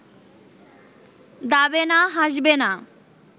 দাবে না, হাসবে না